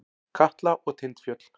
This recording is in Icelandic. Katla og Tindfjöll.